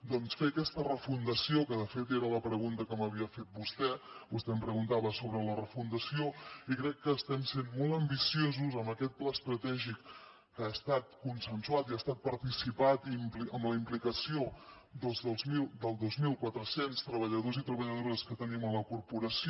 doncs fer aquesta refundació que de fet era la pregunta que m’havia fet vostè vostè em preguntava sobre la refundació i crec que estem sent molt ambiciosos amb aquest pla estratègic que ha estat consensuat i ha estat participat i amb la implicació dels dos mil quatre cents treballadors i treballadores que tenim a la corporació